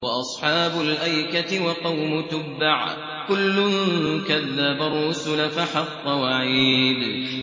وَأَصْحَابُ الْأَيْكَةِ وَقَوْمُ تُبَّعٍ ۚ كُلٌّ كَذَّبَ الرُّسُلَ فَحَقَّ وَعِيدِ